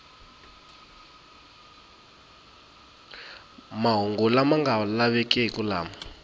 mahungu lama nga lavekeki lama